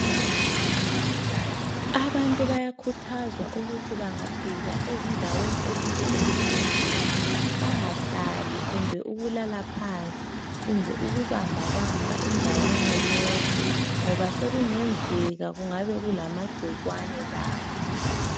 Abantu bayakhuthazwa ukuthi bangafika endaweni ezinjesibhedlela bangahlali kumbe ukulala phansi kumbe ukubamba bamba indawana yonke ngoba sokungenzeka kungabe kulamagcikwane lapha.